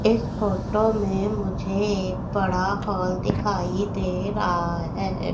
इस फोटो में मुझे बड़ा हॉल दिखाई दे रहा है।